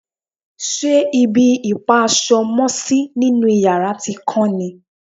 ṣe ibi ìpa aṣọ mọ́sí nínú yàrá ti kán ni?